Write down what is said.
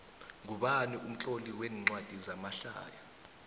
ngubani umtloli wencwadi zamahlaya